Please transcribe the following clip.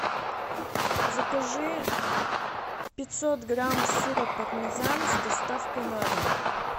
закажи пятьсот грамм сыра пармезан с доставкой на дом